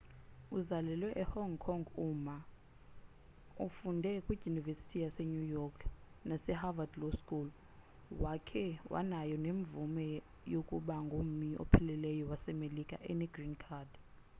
uzalelwe e hong kong u ma ufunde kwidyunivesithi yase new york nase harvad law school wakhe wanayo nemvume yokuba ngummi opheleleyo wasemelika ene green card